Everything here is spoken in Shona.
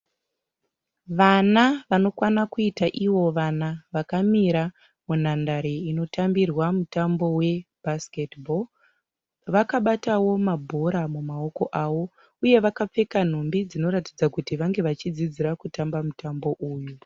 Vana vanokwana kuita ivo vana vakamira munhandare inotambirwa mutambo webhasikiti bho , vakabatawo mabhora mumaoko avo uye vakapfeka nhumbi dzinoratidza kuti vange vachidzidzira kutamba mutambo uyu.